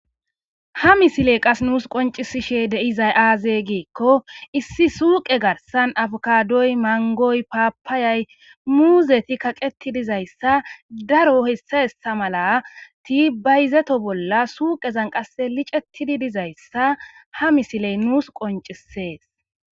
Ha misiley qase nuus qonccisishes de'izay aaze giikko issi suuqe garssan afokadoy mangoy paapayay muuzeti kaqeti dizayssa daro hessa hessa malati bayizeto bolla suuqezan qasse liccetidi dizayssa ha misiley nuus qonccises